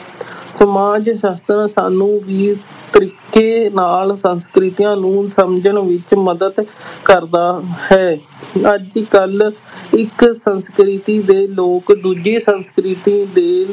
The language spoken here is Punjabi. ਸਮਾਜ ਸ਼ਾਸਤਰ ਸਾਨੂੰ ਵੀ ਤਰੀਕੇ ਨਾਲ ਸੰਸਕ੍ਰਿਤੀਆਂ ਨੂੰ ਸਮਝਣ ਵਿੱਚ ਮਦਦ ਕਰਦਾ ਹੈ ਅੱਜ ਕੱਲ੍ਹ ਇੱਕ ਸੰਸਕ੍ਰਿਤੀ ਦੇ ਲੋਕ ਦੂਜੀ ਸੰਸਕ੍ਰਿਤੀ ਦੇ